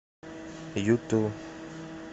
юту